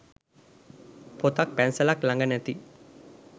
පොතක් පැන්සලක් ලඟ නැති